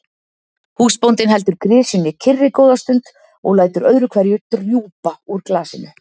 Húsbóndinn heldur grisjunni kyrri góða stund og lætur öðru hverju drjúpa úr glasinu.